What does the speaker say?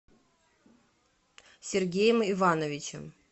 сергеем ивановичем